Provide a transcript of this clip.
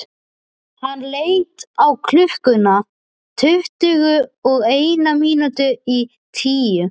Hann leit á klukkuna: tuttugu og eina mínútu í tíu.